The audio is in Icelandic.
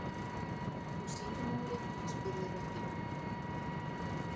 Og símanúmerið? spurði röddin.